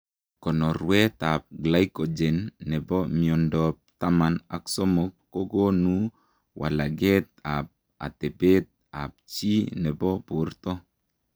Konorweet ap glycogen nepo miondoop taman ak somok kokonuu walageet ap atepeet ap chii nepoo bortoo